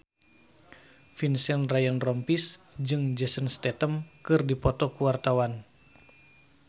Vincent Ryan Rompies jeung Jason Statham keur dipoto ku wartawan